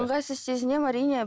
ыңғайсыз сезінемін әрине